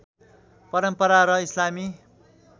परम्परा र इस्लामी